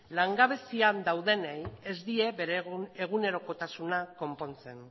langabezian daudenei ez die bere egunerokotasuna konpontzen